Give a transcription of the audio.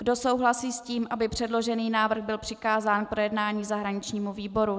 Kdo souhlasí s tím, aby předložený návrh byl přikázán k projednání zahraničnímu výboru?